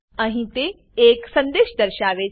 અહીં તે એક સંદેશ દર્શાવે છે